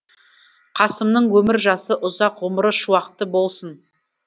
қасымның өмір жасы ұзақ ғұмыры шуақты болсын